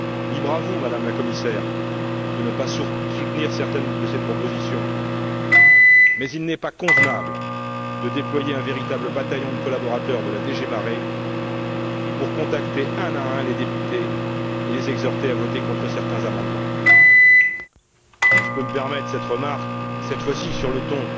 Libre à vous, Madame la Commissaire, de ne pas soutenir certaines de ces propositions, mais il n'est pas convenable de déployer un véritable bataillon de collaborateurs de la DG MARE pour contacter un à un les députés et les exhorter à voter contre certains amendements. Si je peux me permettre cette remarque, cette fois ci sur le ton